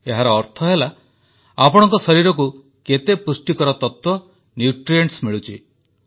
ଏହାର ଅର୍ଥ ହେଲା ଆପଣଙ୍କ ଶରୀରକୁ କେତେ ପୁଷ୍ଟିକର ତତ୍ୱ ମିଳୁଛି